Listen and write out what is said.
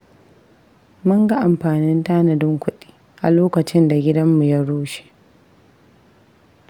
Mun ga amfanin tanadin kudi a lokacin da gidanmu ya rushe.